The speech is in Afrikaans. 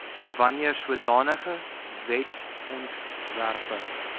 wanneer sodanige wetsontwerpe